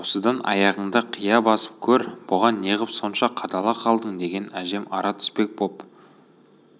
осыдан аяғыңды қия басып көр бұған неғып сонша қадала қалдың деген әжем ара түспек боп